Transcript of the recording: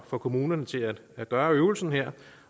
for kommunerne til at at gøre øvelsen her